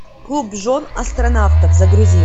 клуб жен астронавтов загрузи